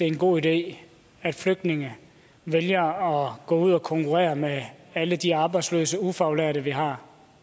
en god idé at flygtninge vælger at gå ud og konkurrere med alle de arbejdsløse ufaglærte vi har